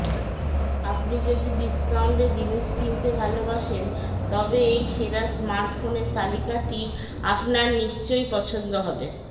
আপনি যদি ডিস্কাউন্টে জিনিস কিনতে ভালবাসেন তবে এই সেরা স্মার্টফোনের তালিকাটি আপনার নিশ্চই পছন্দ হবে